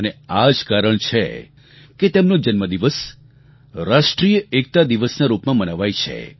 અને આ જ કારણ છે કે તેમનો જન્મ દિવસ રાષ્ટ્રીય એકતા દિવસના રૂપમાં મનાવાય છે